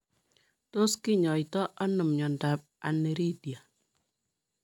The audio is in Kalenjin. Tos kinyoitoo anoo miondoop Aniridia?